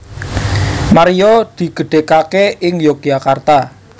Maria digedhègaké ing Yogyakarta